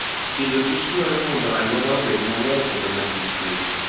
Agriculture and Food dwaro mondo aluora obed maler kendo man gi kuwe.